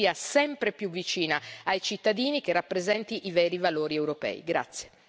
Facciamo in modo che sia sempre più vicina ai cittadini e che rappresenti i veri valori europei.